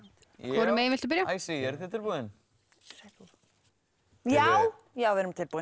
hvorum megin viltu byrja eruð þið tilbúin já já við erum tilbúin